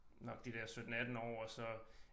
Nok de der 17 18 år og så